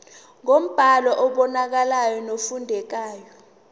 ngombhalo obonakalayo nofundekayo